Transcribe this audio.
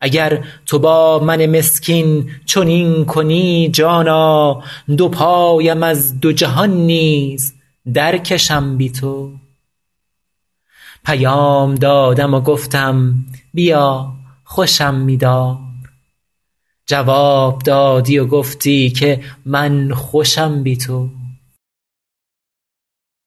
اگر تو با من مسکین چنین کنی جانا دو پایم از دو جهان نیز درکشم بی تو پیام دادم و گفتم بیا خوشم می دار جواب دادی و گفتی که من خوشم بی تو